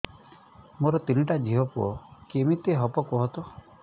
ମୋର ତିନିଟା ଝିଅ ପୁଅ କେମିତି ହବ କୁହତ